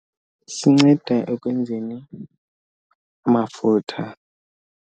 Sinceda ekwenzeni amafutha.